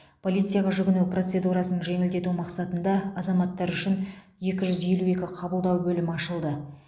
полицияға жүгіну процедурасын жеңілдету мақсатында азаматтар үшін екі жүз елу екі қабылдау бөлімі ашылды